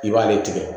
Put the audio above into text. I b'ale tigɛ